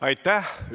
Aitäh!